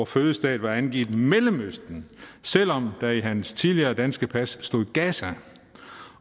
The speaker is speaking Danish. fødested var angivet mellemøsten selv om der i hans tidligere danske pas stod gaza